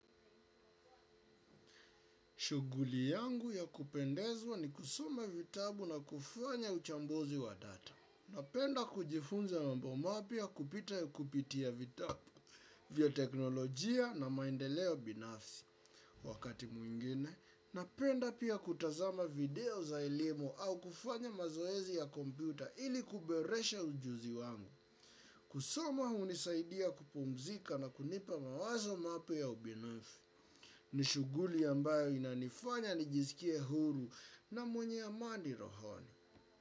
Shughuli yangu ya kupendezwa ni kusoma vitabu na kufanya uchambuzi wa data. Napenda kujifunza mambo mapya kupita ya kupitia vitabu vya teknolojia na maendeleo binafsi. Wakati mwingine, napenda pia kutazama video za elimu au kufanya mazoezi ya komputa ili kuboresha ujuzi wangu. Kusoma hunisaidia kupumzika na kunipa mawazo mapya ya ubinafsi. Ni shuguli ambayo inanifanya nijisikie huru na mwenye amani rohoni.